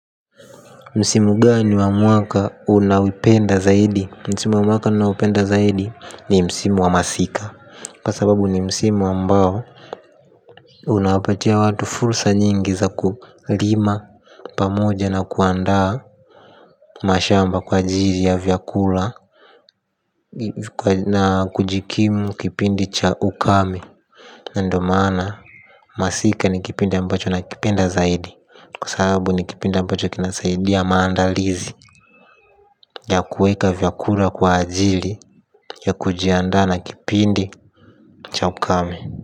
Msimu gani wa mwaka unaoipenda zaidi. Msimu wa mwaka ninaopenda zaidi ni msimu wa masika kwa sababu ni msimu ambao unawapatia watu fursa nyingi za kulima pamoja na kuandaa mashamba kwa ajili ya vyakula na kujikimu kipindi cha ukame. Ndo maana masika ni kipinda ambacho nakipenda zaidi. Kwa sababu ni kipindi ambacho kinasaidia maandalizi ya kueka vyakula kwa ajili ya kujiandaa na kipindi cha ukame.